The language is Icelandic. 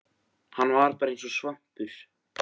Hann var bara eins og svampur.